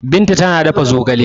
Binta tana dafa zogale.